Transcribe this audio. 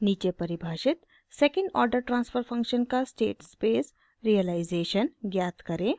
नीचे परिभाषित second order transfer function का स्टेट स्पेस रियलाइज़ेशन ज्ञात करें